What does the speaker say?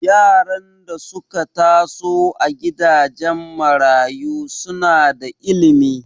Yaran da suka taso a gidajen marayu suna da ilimi